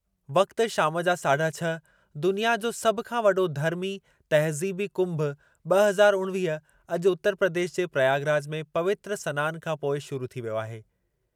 वक़्ति शाम जा साढा छह, दुनिया जो सभु खां वॾो धर्मी, तहज़ीबी कुंभ ॿ हज़ार उणिवीह अॼु उतर प्रदेश जे प्रयागराज में पवित्र सनानु खां पोइ शुरू थी वियो आहे।